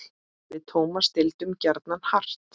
Við Tómas deildum gjarnan hart.